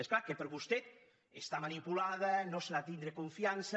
és clar que per vostè està manipulada no se li ha de tindre confiança